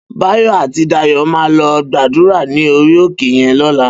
Bayo àtí Dayo má lò gbàdúrá ni óri óké yèn lòlá